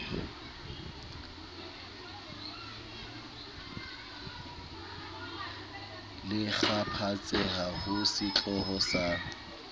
le kgaphatseha ho setloholo sa